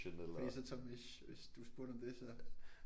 Fordi så Tomish hvis du spurgte om det så